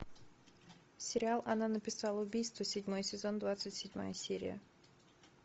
сериал она написала убийство седьмой сезон двадцать седьмая серия